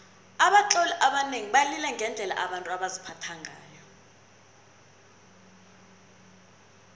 abatloli abanengi balila ngendlela abantu baziphatha ngayo